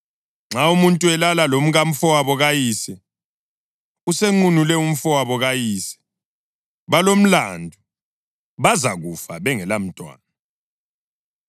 Nxa umuntu elala lomkamfowabo kayise, usenqunule umfowabo kayise. Balomlandu. Bazakufa bengelamntwana.